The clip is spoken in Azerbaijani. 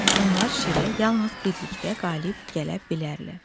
onlar şirə yalnız birlikdə qalib gələ bilərlər.